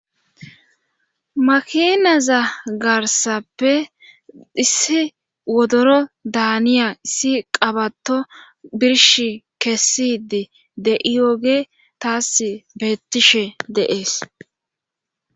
makinaza garsappe issi wodoro daaniya issi qabato birsh kessidi de'iyooge taas beettishe de'ees